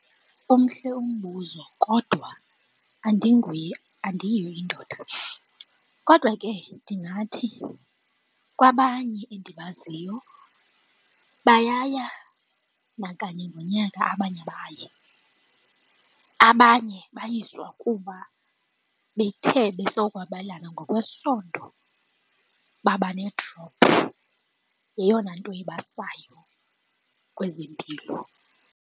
Umhle umbuzo kodwa andinguye andiyiyo indoda kodwa ke ndingathi kwabanye endibaziyo bayaya nakanye ngonyaka abanye abayi. Abanye bayiswa kuba bethe besokwabelana ngokwesondo baba ne-drop. Yeyona nto ibasayo kwezempilo.